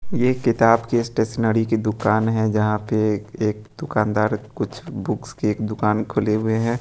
ये किताब की स्टेशनरी की दुकान है जहां पे एक एक दुकानदार कुछ बुक्स की एक दुकान खुले हुए हैं।